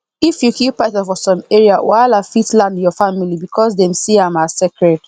if you kill python for some area wahala fit land your family because dem see am as sacred